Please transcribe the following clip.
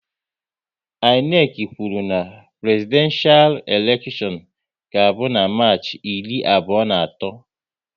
INEC kwụrụ na Prezidenshal elekshion ga abụ na Marchi iri abụọ na atọ